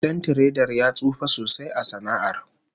Dan tiredar ya tsufa sosai a sana'ar